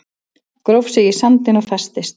Gróf sig í sandinn og festist